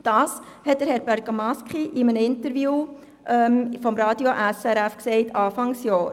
Dies sagte Herr Bergamaschi in einem Interview des Radios SRF zu Beginn des Jahres.